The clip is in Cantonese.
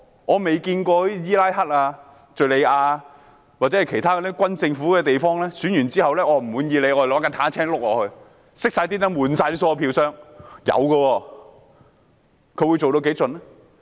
我曾看見伊拉克、敘利亞或其他軍政府的地方在選舉後，人們若不滿意結果，便會駕駛坦克輾過去。